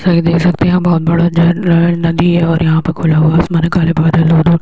देख सकते है यहाँ बोहोत (बहुत) बड़ा झरना है नदी है और यहाँ पर खुला हुआ आसमान है काले बादल है --